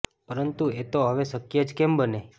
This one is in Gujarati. પરંતું એ તો હવે શકય જ કેમ બને